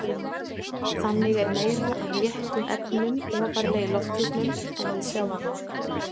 Þannig er meira af léttum efnum ofarlega í lofthjúpnum en við sjávarmál.